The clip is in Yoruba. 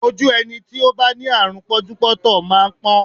Ojú ẹni tí ó bá ní àrùn pọ́njúpọ́ntọ̀ máa ń pọ́n